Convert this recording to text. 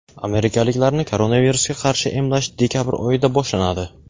amerikaliklarni koronavirusga qarshi emlash dekabr oyida boshlanadi.